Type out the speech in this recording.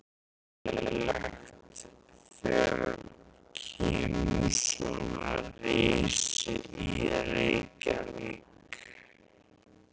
Lára: Er þetta skemmtilegt þegar kemur svona risi í Reykjavík?